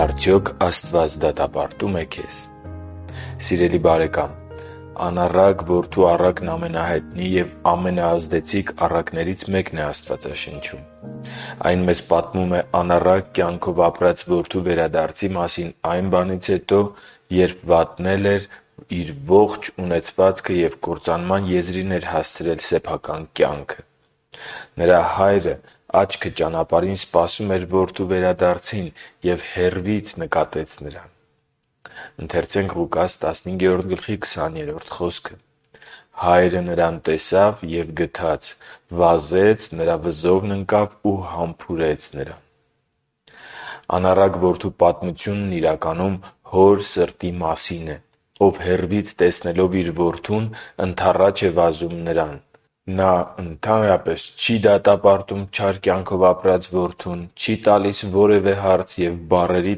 Արդյոք Աստված դատապարտո՞ւմ է քեզ Սիրելի՛ բարեկամ, անառակ որդու առակն ամենահայտնի և ամենաազդեցիկ առակներից մեկն է։ Այն մեզ պատմում է անառակ կյանքով ապրած որդու վերադարձի մասին այն բանից հետո, երբ վատնել էր իր ողջ ունեցվածքը և կործանման եզրին էր հասցրել սեփական կյանքը։ Նրա հայրը աչքը ճանապարհին սպասում էր որդու վերադարձին և հեռվից նկատեց նրան․ «…հայրը նրան տեսավ և գթաց. վազեց, նրա վզովն ընկավ ու համբուրեց նրան» (Ղուկաս 15.20): Անառակ որդու պատմությունն իրականում հոր սրտի մասին է, ով հեռվից տեսնելով իր որդուն՝ ընդառաջ է վազում նրան։ Նա ընդհանրապես չի դատապարտում չար կյանքով ապրած որդուն, չի տալիս որևէ հարց, և բառերի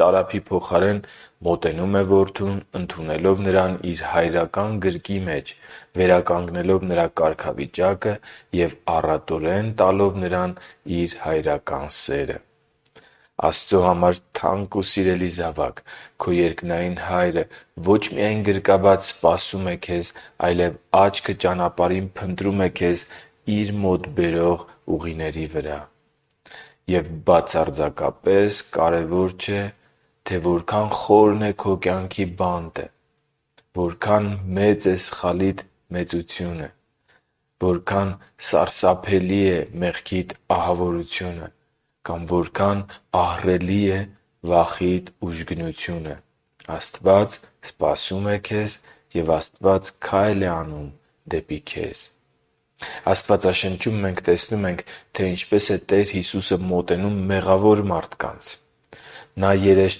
տարափի փոխարեն, մոտենում է որդուն՝ ընդունելով նրան իր հայրական գրկի մեջ, վերականգնելով նրա կարգավիճակը և առատորեն տալով նրան իր հայրական սերը։ Աստծո համար թանկ ու սիրելի՛ զավակ, քո երկնային Հայրը ոչ միայն գրկաբաց սպասում է քեզ, այլև աչքը ճանապարհին փնտրում է քեզ Իր մոտ բերող ճանապարհի վրա։ Եվ բացարձակապես կարևոր չէ, թե որքան․․․ - Խորն է քո կյանքի բանտը, - Մեծ է սխալիդ մեծությունը, - Սարսափելի է մեղքիդ ահավորությունը, - Կամ ահռելի է վախիդ ուժգնությունը։ Աստված քայլ է անում դեպի քեզ։ Աստվածաշնչում մենք տեսնում ենք, թե ինչպես է Տեր Հիսուսը մոտենում մեղավոր մարդկանց։ Նա երես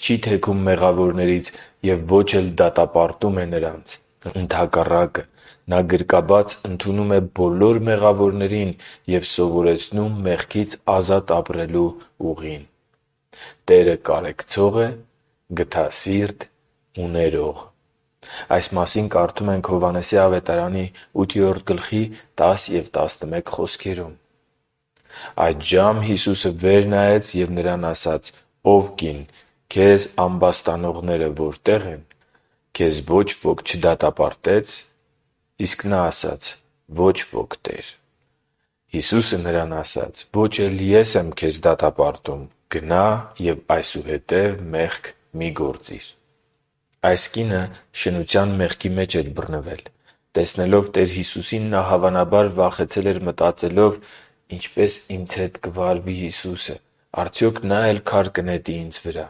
չի թեքում մեղավորներից և ոչ էլ դատապարտում է նրանց։ Ընդհակառակը, Նա գրկաբաց ընդունում է բոլոր մեղավորներին և սովորեցնում մեղքից ազատ ապրելու ուղին։ Տերը կարեկցող է, գթասիրտ ու ներող։ Այս մասին կարդում ենք Հովհաննեսի ավետարանի 8.10-11 խոսքերում. «Այդժամ Հիսուսը վեր նայեց և նրան ասաց. «Ո՛վ կին, քեզ ամբաստանողները որտե՞ղ են. քեզ ոչ ոք չդատապարտե՞ց»։ Իսկ նա ասաց. «Ոչ ոք, Տե՛ր»։ Հիսուսը նրան ասաց. «Ոչ էլ Ես եմ քեզ դատապարտում. գնա՛ և այսուհետև մեղք մի՛ գործիր»։ Այս կինը շնության մեղքի մեջ էր բռնվել։ Տեսնելով Տեր Հիսուսին՝ նա հավանաբար վախեցել էր՝ մտածելով. «Ինչպե՞ս ինձ հետ կվարվի Հիսուսը։ Արդյոք Նա՞ էլ քար կնետի ինձ վրա»։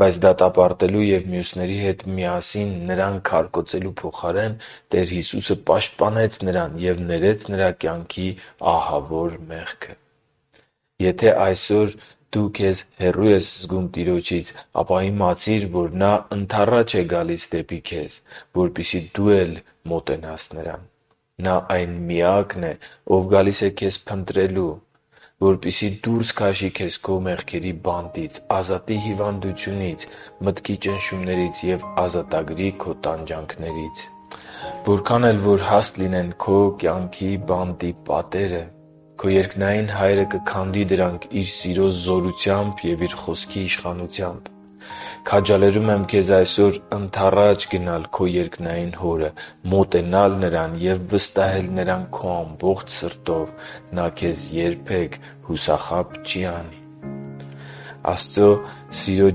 Բայց դատապարտելու և մյուսների հետ միասին նրան քարկոծելու փոխարեն՝ Տեր Հիսուսը պաշտպանեց նրան և ներեց նրա կյանքի ահավոր մեղքը։ Եթե այսօր քեզ հեռու ես զգում Տիրոջից, ապա իմացի՛ր, որ Նա ընդառաջ է գալիս դեպի քեզ, որպեսզի դու էլ մոտենաս Նրան։ Նա այն Միակն է, ով գալիս է քեզ փնտրելու։ Որպեսզի դուրս քաշի քեզ քո մեղքերի բանտից, ազատի հիվանդությունից, մտքի ճնշումներից և ազատագրի քո տանջանքներից։ Որչափ էլ որ հաստ լինեն քո բանտի պատերը, քո երկնային Հայրը կքանդի դրանք Իր սիրո զորությամբ և Իր Խոսքի իշխանությամբ։ Քաջալերում եմ քեզ այսօր ընդառաջ գնալ քո երկնային Հորը, մոտենալ Նրան և վստահել Նրան քո ամբողջ սրտով։ Նա քեզ երբե՛ք հուսախաբ չի անի։ Աստծո սիրո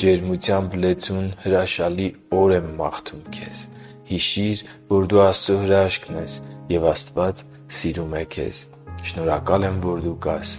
ջերմությամբ լեցուն հրաշալի օր եմ մաղթում քեզ։ Հիշի՛ր, որ դու Աստծո հրաշքն ես, և Աստված սիրում է քեզ։ Շնորհակալ եմ, որ դու կա՛ս